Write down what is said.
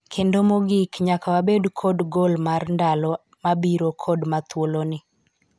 kendo mogik, nyaka wabed kod gol mar ndlo mabiro kod ma thuolo ni